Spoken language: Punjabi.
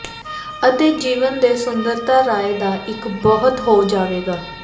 ਅਤੇ ਜੀਵਨ ਦੇ ਸੁੰਦਰਤਾ ਰਾਏ ਦਾ ਇੱਕ ਬਹੁਤ ਹੋ ਜਾਵੇਗਾ